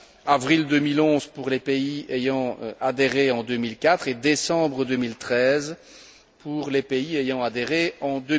avril 2011 pour les pays ayant adhéré en 2004 et décembre 2013 pour les pays ayant adhéré en